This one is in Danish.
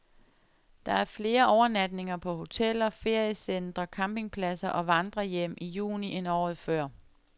Der er flere overnatninger på hoteller, feriecentre, campingpladser og vandrerhjem i juni end året før.